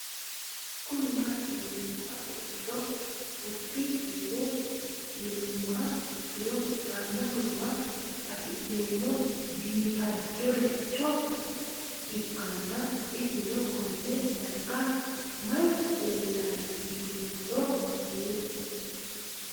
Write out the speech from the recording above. Kuni mati yinumoha ikiro wassup timat yinumoha ikiro hanja murowa afine'mona bifadoricho ikana isino Kone darga mayi leelanno yinumaro muuze